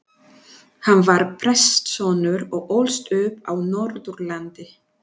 Hann var prestssonur og ólst upp á Norðurlandi.